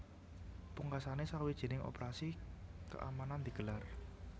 Pungkasané sawijining operasi keamanan digelar